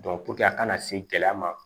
a kana se gɛlɛya ma